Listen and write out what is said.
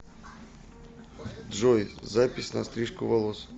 джой запись на стрижку волос